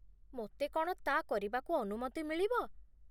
ମୋତେ କ'ଣ ତା' କରିବାକୁ ଅନୁମତି ମିଳିବ?